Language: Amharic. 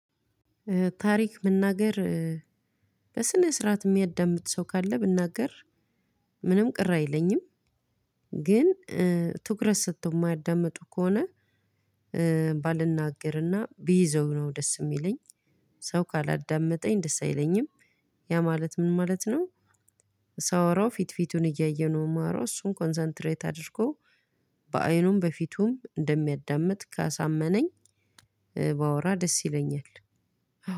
ታሪክ መናገር በስነ ስርዓት የሚያዳምጥ ሰው ካለ ብናገር ምንም ቅር አይለኝም። ግን ትኩረት ሰጥቶ የማያዳምጡ ከሆነ። ባልናገርና ቢይዘው ነው ደስ የሚለኝ ሰው ካላዳመጠኝ ደስ አይለኝም። ያ ማለት ምን ማለት ነው? ሳወራው ፊት ፊቱን እያየነው ማእራው እሱን ኮንሰንትሬት አድርጎ በአይኑም በፊቱም እንደሚያዳምጥ ካሳመነኝ። ባወራ ደስ ይለኛል።